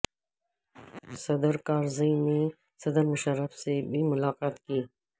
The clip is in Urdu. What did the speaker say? صدر کارزئی نے صدر مشرف سے بھی ملاقات کی